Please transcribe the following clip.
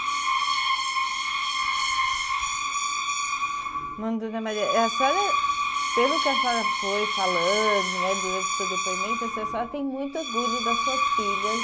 Bom, dona Maria, a senhora, pelo que a senhora foi falando, né, durante o seu depoimento, assim a senhora tem muito orgulho das suas filhas.